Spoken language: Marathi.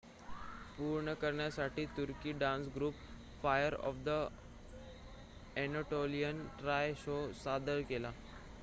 "पूर्ण करण्यासाठी तुर्की डान्स ग्रुप फायर ऑफ अ‍ॅनाटोलियाने "ट्रॉय" शो सादर केला.